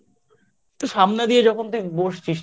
সামনে দিয়ে যখন তুই বসছিস ঠিক